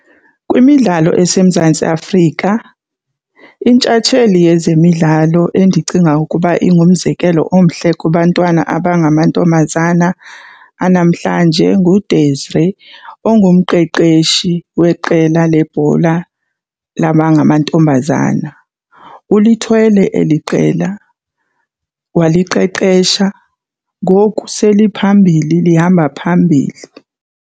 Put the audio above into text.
Kwimidlalo eseMzantsi Afrika intshatsheli yezemidlalo endicinga ukuba ingumzekelo omhle kubantwana abangamantombazana anamhlanje nguDesiree ongumqeshi weqela lebhola labangamantombazana. Ulithwele eli qela waliqeqesha, ngoku seliphambili lihamba phambili.